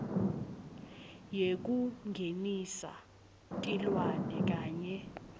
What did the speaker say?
yekungenisa tilwane kanye